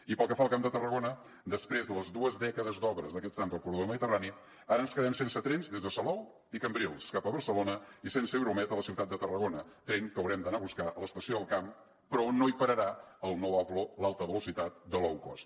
i pel que fa al camp de tarragona després de les dues dècades d’obres d’aquest tram del corredor mediterrani ara ens quedem sense trens des de salou i cambrils cap a barcelona i sense euromed a la ciutat de tarragona tren que haurem d’anar a buscar a l’estació del camp però on no hi pararà el nou avlo l’alta velocitat de low cost